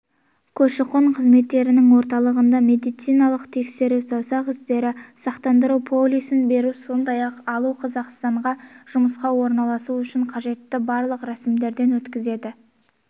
көші-қон қызметтерінің орталығында медициналық тексеру саусақ іздері сақтандыру полисін беру сондай-ақ алу қазақстанға жұмысқа орналасу үшін қажетті барлық рәсімдерден өтеді